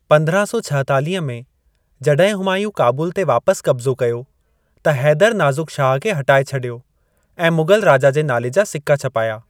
पंद्रहां सौ छाहतालिह में, जॾहिं हुमायूं काबुल ते वापस कब्ज़ो कयो, त हैदर नाज़ुक शाह खे हटाए छॾियो ऐं मुग़ल राजा जे नाले जा सिक्का छापाया।